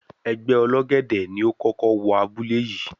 Ẹgbẹ́ Ọlọ́gẹ̀dẹ̀ ni ó kókó wọ abúlé yìí.